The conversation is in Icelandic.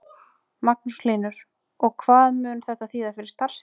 Magnús Hlynur: Og hvað mun þetta þýða fyrir starfsemina?